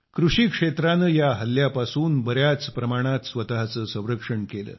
कृषीक्षेत्राने या हल्ल्यापासून बर्याच प्रमाणात स्वत चे संरक्षण केले